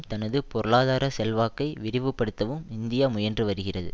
தனது பொருளாதார செல்வாக்கை விரிவுபடுத்தவும் இந்தியா முயன்று வருகிறது